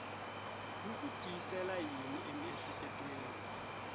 wu ku tisela yini emiehleketweni